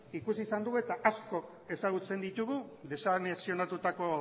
ikus izan dugu eta askok ezagutzen ditugu desanexionatutako